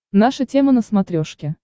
наша тема на смотрешке